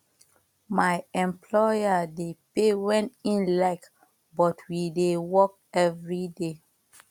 my employer dey pay wen im like but we dey work everyday